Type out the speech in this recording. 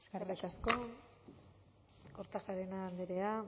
eskerrik asko kortajarena andrea